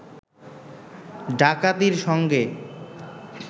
ডাকাতির সঙ্গে